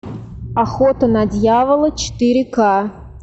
охота на дьявола четыре ка